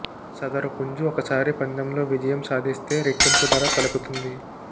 సదరు పుంజు ఒకసారి పందెంలో విజయం సాధిస్తే రెట్టింపు ధర పలుకుతుంది